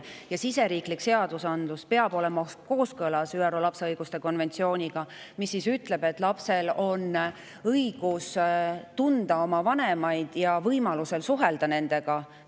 Ja siseriiklik seadusandlus peab olema kooskõlas ÜRO lapse õiguste konventsiooniga, mis ütleb, et lapsel on õigus tunda oma vanemaid ja võimalus nendega suhelda.